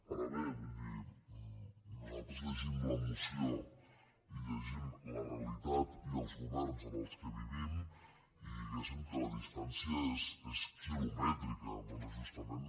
ara bé vull dir nosaltres llegim la moció i llegim la realitat i els governs en què vivim i diguéssim que la distància és quilomètrica bé justament